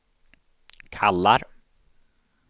kallar